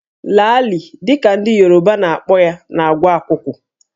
Laalị dị ka ndị Yoruba na-akpọ ya na-agwọ akwụkwụ